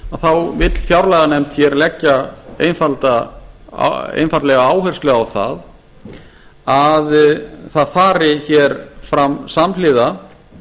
þá vill fjárlaganefnd hér leggja einfaldlega áherslu á það að það fari hér fram samhliða